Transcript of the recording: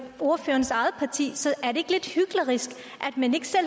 ordførerens eget parti så er det ikke lidt hyklerisk